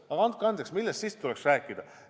Aga andke andeks, millest siis tuleks rääkida?